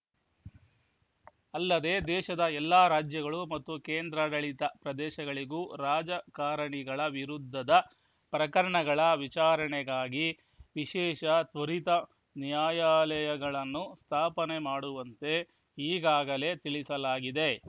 ಅಲ್ಲದೆ ದೇಶದ ಎಲ್ಲ ರಾಜ್ಯಗಳು ಮತ್ತು ಕೇಂದ್ರಾಡಳಿತ ಪ್ರದೇಶಗಳಿಗೂ ರಾಜಕಾರಣಿಗಳ ವಿರುದ್ಧದ ಪ್ರಕರಣಗಳ ವಿಚಾರಣೆಗಾಗಿ ವಿಶೇಷ ತ್ವರಿತ ನ್ಯಾಯಾಲಯಗಳನ್ನು ಸ್ಥಾಪನೆ ಮಾಡುವಂತೆ ಈಗಾಗಲೇ ತಿಳಿಸಲಾಗಿದೆ